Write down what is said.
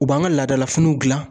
U b'an ka laadalafiniw gilan.